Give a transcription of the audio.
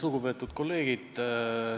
Lugupeetud kolleegid!